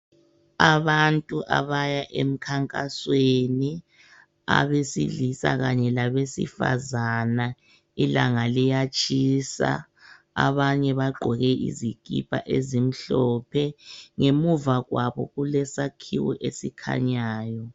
Abantu abaya emkhankasweni abesilisa kanye labesifazana ,ilanga liyatshisa abanye bagqoke izikipa ezimhlophe ngemuva kwabo kulesakhiwo esikhanyayo.